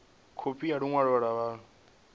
khophi ya ḽi ṅwalo ḽa vhuṋe